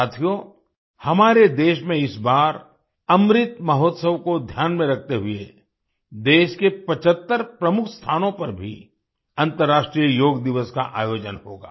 साथियो हमारे देश में इस बार अमृत महोत्सव को ध्यान में रखते हुए देश के 75 प्रमुख स्थानों पर भी अंतरराष्ट्रीय योग दिवस का आयोजन होगा